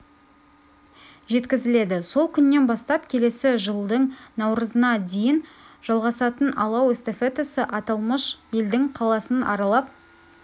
жеткізіледі сол күннен бастап келесі жылдың наурызына дейін жалғасатын алау эстафетасы аталмыш елдің қаласын аралап